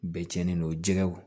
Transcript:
Bɛɛ cɛnnen don jɛgɛw